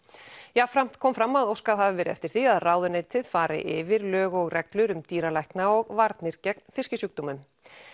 jafnframt kom fram að óskað hafi verið eftir því að ráðuneytið fari yfir lög og reglur um dýralækna og varnir gegn fiskisjúkdómum